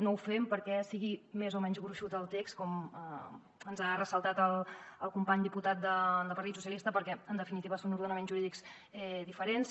no ho fem perquè sigui més o menys gruixut el text com ens ha ressaltat el company diputat del partit socialistes perquè en definitiva són ordenaments jurídics diferents